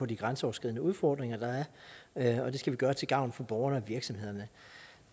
de grænseoverskridende udfordringer der er og det skal vi gøre til gavn for borgerne og virksomhederne